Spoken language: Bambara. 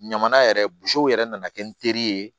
Ɲama yɛrɛ yɛrɛ nana kɛ n teri ye